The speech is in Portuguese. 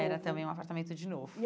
Era também um apartamento de novo.